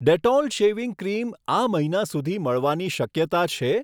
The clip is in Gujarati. ડેટોલ શેવિંગ ક્રીમ આ મહિના સુધીમાં મળવાની શક્યતા છે?